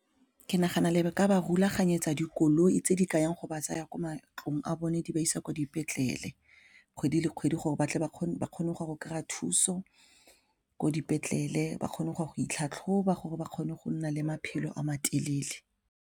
Ke nagana le ka ba rulaganyetsa dikoloi tse di ka yang go ba tsaya ko matlong a bone di ba isa kwa dipetlele kgwedi le kgwedi gore batle ba kgone go kry-a thuso ko dipetlele ba kgone go ya go itlhatlhoba gore ba kgone go nna le maphelo a matelele.